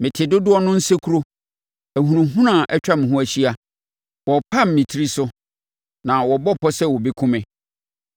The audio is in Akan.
Mete dodoɔ no nsekuro. Ahunahuna atwa me ho ahyia. Wɔrepam me tiri so na wɔbɔ pɔ sɛ wɔbɛkum me.